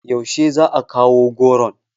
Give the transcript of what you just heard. Yaushe za a kawo goron?